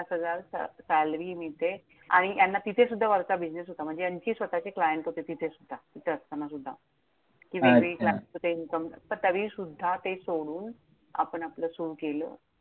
पाच हजार salary मिळते. आणि ह्यांना तिथेसुद्धा वरचा business होता. म्हणजे यांचे स्वतःचे client होते तिथे सुद्धा, तिथे असताना सुद्धा. तरी अच्छा! त्यांचं ते income तरी सुद्धा ते सोडून आपण आपलं सुरु केलं.